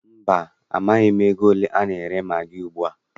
Mba, amaghị m ego ole a na-ere magị ugbua.